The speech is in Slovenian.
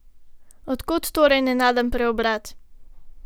Od kod torej nenaden preobrat?